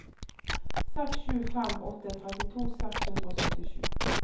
seks sju fem åtte trettito seks hundre og syttisju